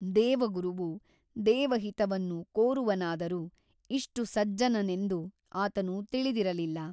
ದೇವಗುರುವು ದೇವಹಿತವನ್ನು ಕೋರುವನಾದರೂ ಇಷ್ಟು ಸಜ್ಜನನೆಂದು ಆತನು ತಿಳಿದಿರಲಿಲ್ಲ.